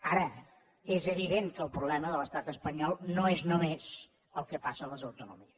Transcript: ara és evident que el problema de l’estat espanyol no és només el que passa a les autonomies